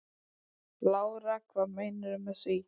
Lára: Hvað meinarðu með því?